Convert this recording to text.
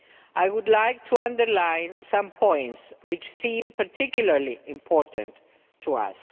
I would like to underline some points which seem particularly important to us.